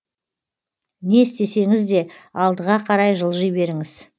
не істесеңізде алдыға қарай жылжи беріңіз